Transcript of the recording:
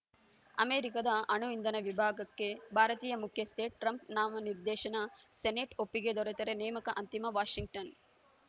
ಅಮೆರಿಕದ ಅಣು ಇಂಧನ ವಿಭಾಗಕ್ಕೆ ಭಾರತೀಯ ಮುಖ್ಯಸ್ಥೆ ಟ್ರಂಪ್‌ ನಾಮನಿರ್ದೇಶನ ಸೆನೆಟ್‌ ಒಪ್ಪಿಗೆ ದೊರೆತರೆ ನೇಮಕ ಅಂತಿಮ ವಾಷಿಂಗ್ಟನ್‌